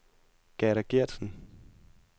Gerda Gertsen